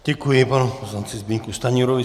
Děkuji panu poslanci Zbyňku Stanjurovi.